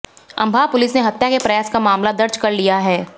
Ambah police ने हत्या के प्रयास का मामला दर्ज कर लिया है